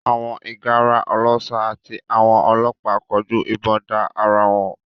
Àwọn ìgárá ọlọ́ṣà àti àwọn ọlọ́pàá kọjú ìbọn da ara wọn